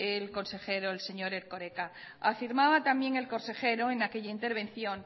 el consejero el señor erkoreka afirmaba también el consejero en aquella intervención